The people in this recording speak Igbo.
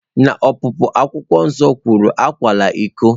N'Ọpụpụ, Akwụkwọ Nsọ kwuru, "Akwala iko!"